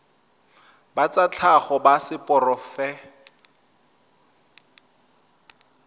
ba tsa tlhago ba seporofe